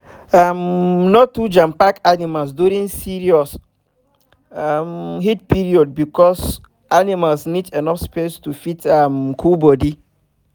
um no too jampack animals during serious um heat period because animal need enough spare to fit um cool body